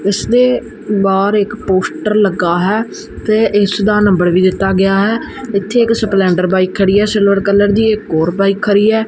ਇਸਦੇ ਬਾਹਰ ਇੱਕ ਪੋਸਟਰ ਲੱਗਾ ਹੈ ਤੇ ਇਸਦਾ ਨੰਬਰ ਵੀ ਦਿੱਤਾ ਗਿਆ ਹੈ ਇੱਥੇ ਇੱਕ ਸਪਲੈਂਡਰ ਬਾਇਕ ਖੜੀ ਹੈ ਸਿਲਵਰ ਕਲਰ ਦੀ ਇੱਕ ਹੋਰ ਬਾਇਕ ਖਰੀ ਹੈ।